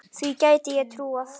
Því gæti ég trúað